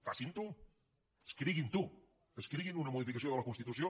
facinho escriguinho escriguin una modificació de la constitució